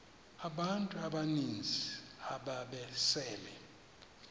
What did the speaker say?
abantu abaninzi ababesele